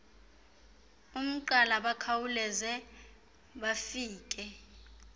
umgqala bakhawuleze bafike